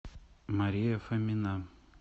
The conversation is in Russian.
мария фомина